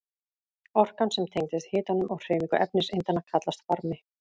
Orkan sem tengist hitanum og hreyfingu efniseindanna kallast varmi.